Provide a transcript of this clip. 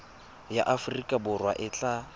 ya aforika borwa e tla